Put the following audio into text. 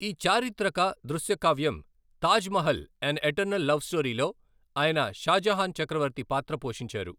ఈ చారిత్రక దృశ్యకావ్యం Taj Mahal, an eternal love స్టోరీ'లో ఆయన షాజహాన్ చక్రవర్తి పాత్ర పోషించారు.